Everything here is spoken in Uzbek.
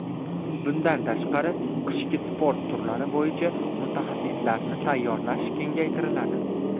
Bundan tashqari, qishki sport turlari bo‘yicha mutaxassislarni tayyorlash kengaytiriladi.